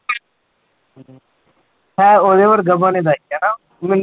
ਹਾਂ ਉਹਦੇ ਵਰਗਾ ਹਨਾ ਮੈਨੂੰ